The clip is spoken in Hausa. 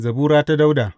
Zabura ta Dawuda.